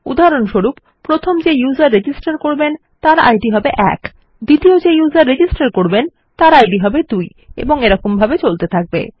উদাহরণস্বরূপ প্রথম যে ব্যবহারকারী রেজিস্টার করবে তার ইদ হবে ১ দ্বিতীয় যে ব্যবহারকারী রেজিস্টার করবেন তার ইদ হবে ২ এবং এরম ভাবে চলবে